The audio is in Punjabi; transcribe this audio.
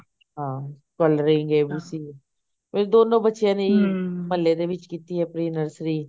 ਹਾਂ coloring ABC ਮੇਰੇ ਦੋਨੋ ਬੱਚਿਆ ਨੇ ਇਹੀ ਮਹਲੇ ਦੇ ਵਿਚ ਕੀਤੀ ਐ pre nursery